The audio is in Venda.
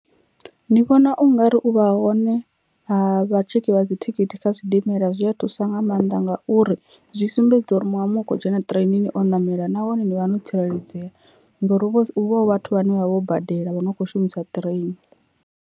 Ndi vhona ungari u vha hone ha vha tshekhi vha dzithikhithi kha zwidimela zwi a thusa nga maanḓa ngauri zwi sumbedza uri muṅwe na muṅwe u kho dzhena ṱireinini o namela nahone ni vha no tsireledzea, ngori hu vha hu vha hu vhathu vhane vha vha vho badela vho no kho shumisa ṱireini.